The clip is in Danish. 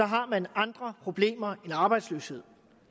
har man andre problemer end arbejdsløshed